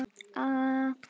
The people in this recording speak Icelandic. Þinn Bjarki.